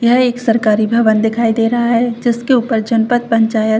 यह एक सरकारी भवन दिखाई दे रहा है जिसके ऊपर जनता पंचायत--